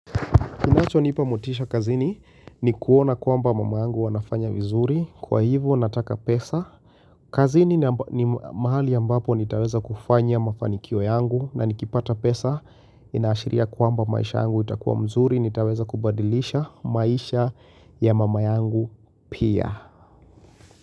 Inacho nipa motisha kazini ni kuona kwamba mama angu anafanya vizuri Kwa hivo nataka pesa kazini ni mahali ambapo nitaweza kufanya mafanikio yangu na nikipata pesa inaashiria kwamba maisha yangu itakuwa mzuri nitaweza kubadilisha maisha ya mama yangu pia.